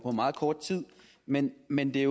meget kort tid men men det